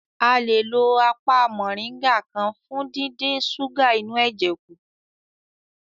A le lo apá mọ̀nríngà kan fún díndín súgà inú ẹ̀jẹ̀ kù